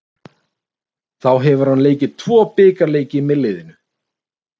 Þá hefur hann leikið tvo bikarleiki með liðinu.